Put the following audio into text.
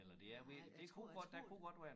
Nej det jeg tror